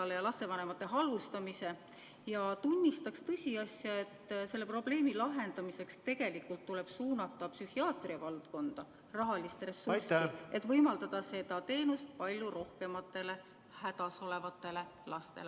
Äkki ta lõpetab lapsevanemate halvustamise ning tunnistab tõsiasja, et selle probleemi lahendamiseks tuleb tegelikult suunata psühhiaatria valdkonda rohkem rahalist ressurssi, et võimaldada seda teenust pakkuda palju rohkematele hädas olevatele lastele.